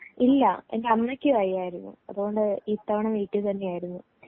ഇല്ല എന്റെ അമ്മയ്ക്ക് വയ്യായിരുന്നു അതുകൊണ്ട് ഇത്തവണ വീട്ടിൽ തന്നെ ആയിരുന്നു